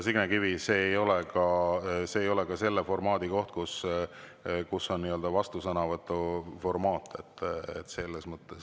Signe Kivi, see ei ole ka see koht, kus on nii-öelda vastusõnavõtuformaat.